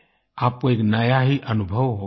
आपको एक नया ही अनुभव होगा